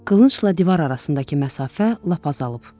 Qılıncla divar arasındakı məsafə lap azalıb.